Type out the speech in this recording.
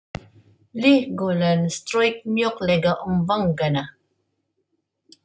Hlý golan strauk mjúklega um vangana.